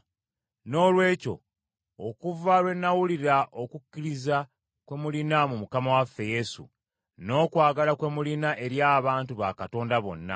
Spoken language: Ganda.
Noolwekyo okuva lwe nawulira okukkiriza kwe mulina mu Mukama waffe Yesu, n’okwagala kwe mulina eri abantu ba Katonda bonna,